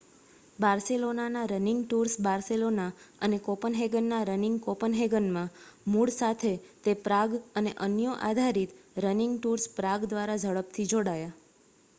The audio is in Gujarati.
બાર્સેલોનાના રનિંગ ટૂર્સ બાર્સેલોના અને કોપનહેગનના રનિંગ કોપનહેગનમાં મૂળ સાથે તે પ્રાગ અને અન્યો આધારિત રનિંગ ટૂર્સ પ્રાગ દ્વારા ઝડપથી જોડાયા